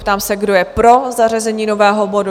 Ptám se, kdo je pro zařazení nového bodu?